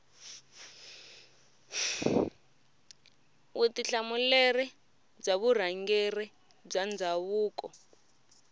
vutihlamuleri bya vurhangeri bya ndhavuko